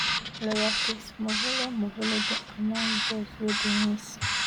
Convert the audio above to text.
lawyer chris morvillo morvillo dey among those wey dey miss